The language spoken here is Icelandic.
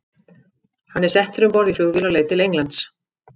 Hann er settur um borð í flugvél á leið til Englands.